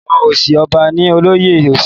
Ọwọ òsì ọba ni olóyè òsì.